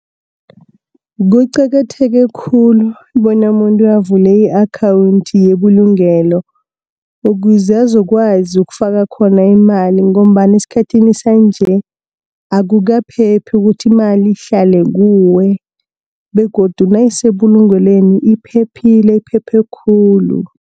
Kuqakatheke khulu bona avule i-akhawunthi yebulugelo, ukuze azokwazi ukufaka khona imali ngobana esikhathini sanje, akukaphephi ukuthi imali ihlale kuwe begodu nayisebulungelweni iphephile, iphephe khulu.